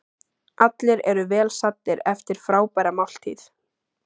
Allir eru vel saddir eftir frábæra máltíð.